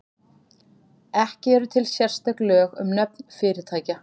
Ekki eru til sérstök lög um nöfn fyrirtækja.